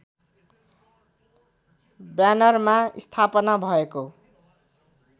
ब्यानरमा स्थापना भएको